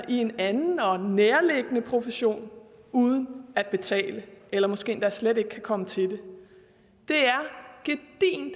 i en anden og nærliggende profession uden at betale eller måske endda slet ikke kan komme til det det